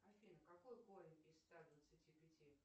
афина какой корень из ста двадцати пяти